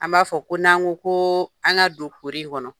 An b'a fɔ ko n'an ko koo an ŋa don kuri in kɔnɔ